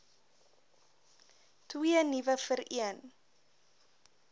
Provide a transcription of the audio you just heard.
twee nuwe vereen